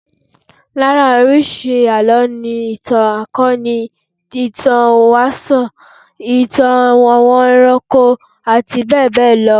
Lára oríṣi àlọ́ ni, ìtàn akọ́ni, ìtàn ìwáṣẹ̀, ìtàn àwọn ẹranko àti bẹ́ẹ̀ bẹ́ẹ̀ lọ